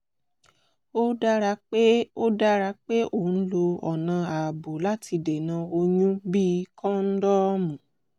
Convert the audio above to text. ó dára pé ó dára pé o ń lo ọ̀nà ààbò láti dènà oyún bíi kọ́ńdọ́ọ̀mù